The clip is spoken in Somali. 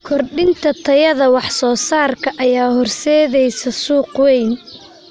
Kordhinta tayada waxsoosaarka ayaa horseedaysa suuq weyn.